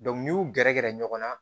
n'i y'u gɛrɛ ɲɔgɔn na